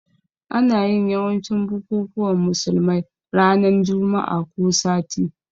Ana yin yawancin bukukuwan musulmai ranan Juma'ah ko sati